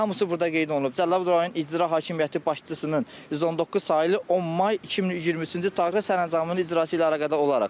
Hamısı burda qeyd olunub Cəlilabad rayon İcra Hakimiyyəti başçısının 119 saylı 10 may 2023-cü il tarixli sərəncamının icrası ilə əlaqədar olaraq.